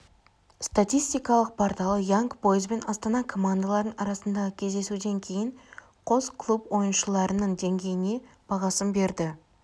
статистикалық порталы янг бойз бен астана командаларының арасындағы кездесуден кейін қос клуб ойыншыларының деңгейіне бағасын берді